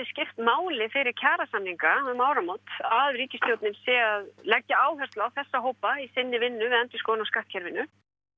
skipt máli fyrir kjarasamninga um áramót að ríkisstjórnin sé að leggja áhersla á þessa hópa í sinni vinnu við endurskoðun á skattkerfinu